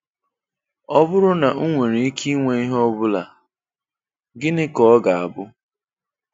Ọ bụrụ na m nwere ike ịnwe ihe ọ bụla, gịnị ka ọ ga-abụ?